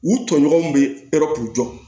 U tɔɲɔgɔnw bɛ yɔrɔ k'u jɔ